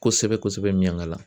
Kosɛbɛ kosɛbɛ kosɛbɛ Miɲiankala